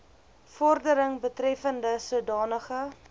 vordering betreffende sodanige